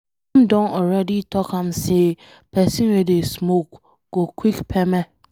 Dem don already talk am say pesin wey dey smoke go quick kpeme.